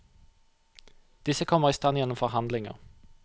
Disse kommer i stand gjennom forhandlinger.